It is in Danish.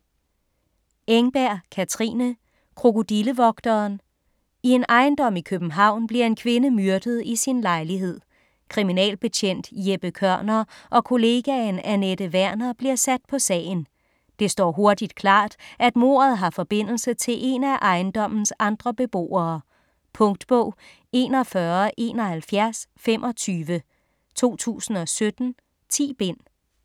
Engberg, Katrine: Krokodillevogteren I en ejendom i København bliver en kvinde myrdet i sin lejlighed. Kriminalbetjent Jeppe Kørner og kollegaen Anette Werner bliver sat på sagen. Det står hurtigt klart, at mordet har forbindelse til en af ejendommens andre beboere. Punktbog 417125 2017. 10 bind.